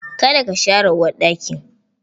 Ka da ka share uwarɗakin!